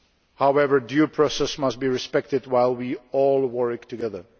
However, due process must be respected while we all work together.